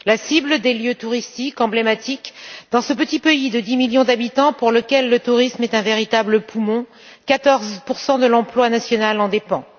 La cible des lieux touristiques est emblématique dans ce petit pays de 10 millions d'habitants pour lequel le tourisme est un véritable poumon 14 de l'emploi national en dépend.